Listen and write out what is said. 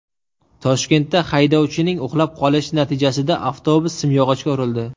Toshkentda haydovchining uxlab qolishi natijasida avtobus simyog‘ochga urildi.